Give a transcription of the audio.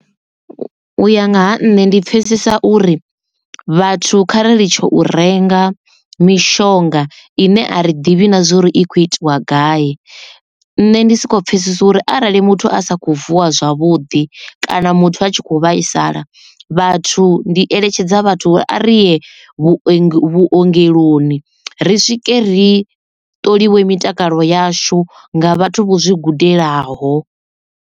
U ya nga ha nṋe ndi pfesesa uri vhathu khari li tsho u renga mishonga ine a ri ḓivhi na zwori i khou itiwa gai nne ndi soko pfhesesa uri arali muthu a sa kho vuwa zwavhuḓi kana muthu a tshi kho vhaisala vhathu ndi eletshedza vhathu uri ariye vhu vhuongeloni ri swike ri ṱoliwa mitakalo yashu nga vhathu vho zwi gudelaho.